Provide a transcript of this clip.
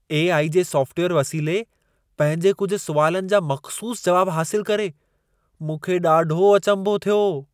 AI. जे software वसीले पंहिंजे कुझु सुवालनि जा मख़्सूस जवाब हासिलु करे मूंखे ॾाढो अचंभो थियो।